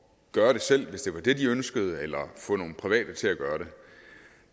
gøre det selv hvis det var det de ønskede eller få nogle private til at gøre det